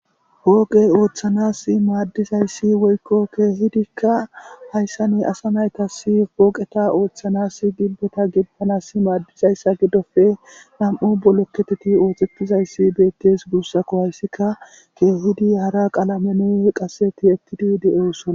Pooqe ooththanaas maddizayssi woykko keehidikka hayssan asa naytas pooqeta ooththanas giddeta gidizayssa giddoppe nami'u bolekketeppe ooththetidayssi beettes guussakko. Hayssika keehidi hara qalamen nuyo qasse tiyettidi de'osona.